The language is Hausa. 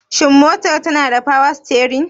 Shin motar tanada power steering?